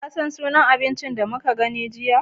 Ka san sunan abinci da muka gani jiya?